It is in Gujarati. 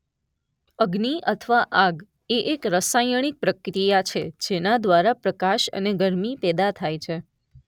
અગ્નિ અથવા આગ એ એક રસાયણિક પ્રક્રિયા છે જેના દ્વારા પ્રકાશ અને ગરમી પેદા થાય છે.